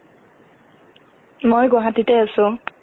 মই গুৱাহাটীতে আছোঁ